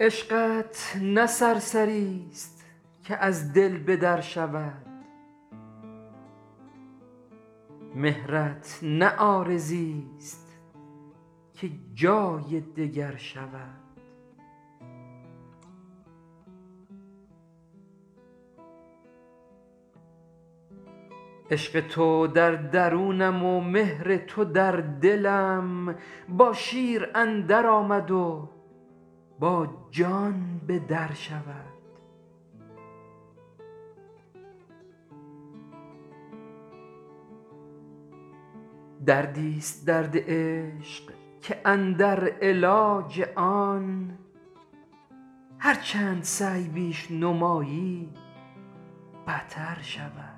عشقت نه سرسری ست که از دل به در شود مهرت نه عارضی ست که جای دگر شود عشق تو در درونم و مهر تو در دلم با شیر اندر آمد و با جان به در شود دردی ست درد عشق که اندر علاج آن هرچند سعی بیش نمایی بتر شود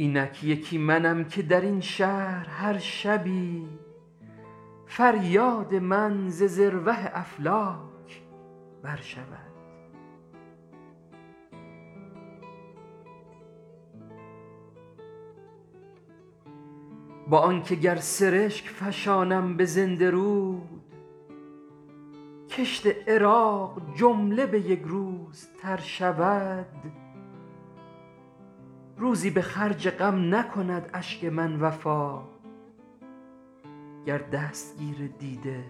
اینک یکی منم که در این شهر هر شبی فریاد من ز ذروه افلاک بر شود با آنکه گر سرشک فشانم به زنده رود کشت عراق جمله به یک روز تر شود روزی به خرج غم نکند اشک من وفا گر دستگیر دیده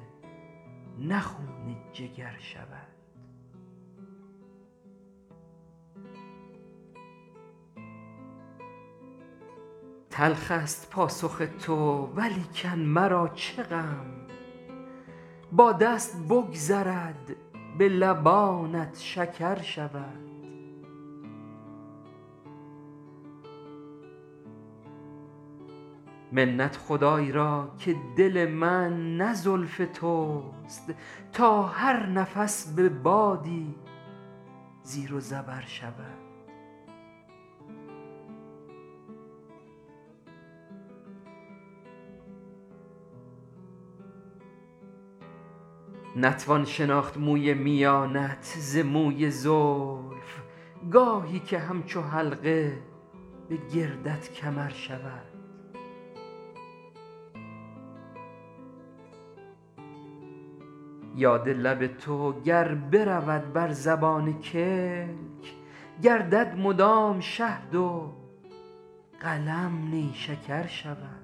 نه خون جگر شود تلخ است پاسخ تو ولیکن مرا چه غم با دست بگذرد به لبانت شکر شود منت خدای را که دل من نه زلف توست تا هر نفس به بادی زیر و زبر شود نتوان شناخت موی میانت ز موی زلف گاهی که همچو حلقه به گردت کمر شود یاد لب تو گر برود بر زبان کلک گردد مدام شهد و قلم نیشکر شود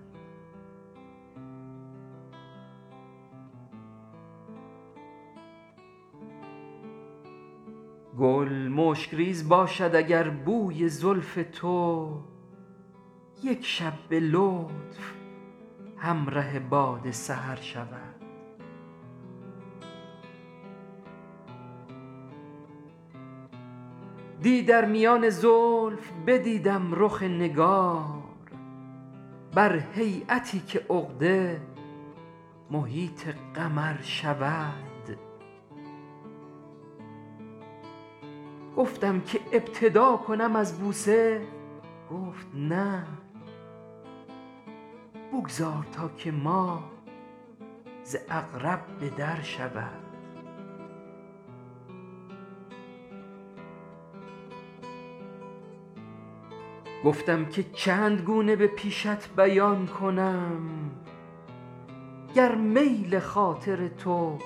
گل مشک ریز باشد اگر بوی زلف تو یک شب به لطف همره باد سحر شود دی در میان زلف بدیدم رخ نگار بر هییتی که عقده محیط قمر شود گفتم که ابتدا کنم از بوسه گفت نه بگذار تا که ماه ز عقرب به در شود گفتم که چند گونه به پیشت بیان کنم گر میل خاطر تو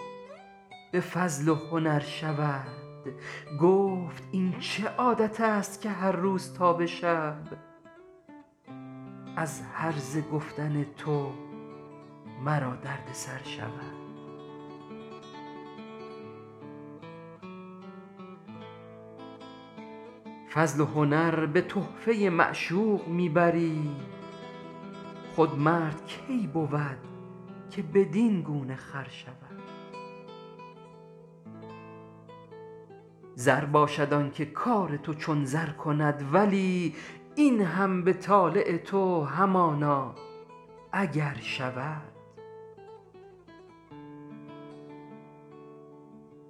به فضل و هنر شود گفت این چه عادت است که هرروز تا به شب از هرزه گفتن تو مرا درد سر شود فضل و هنر به تحفه معشوق می بری خود مرد کی بود که بدین گونه خر شود زر باشد آنکه کار تو چون زر کند ولی این هم به طالع تو همانا اگر شود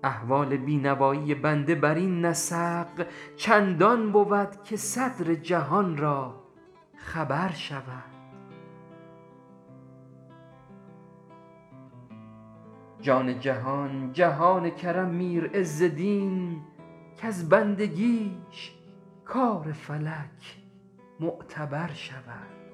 احوال بی نوایی بنده بر این نسق چندان بود که صدر جهان را خبر شود جان جهان جهان کرم میر عز دین کز بندگیش کار فلک معتبر شود